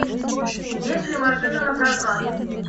есть ли машина напрокат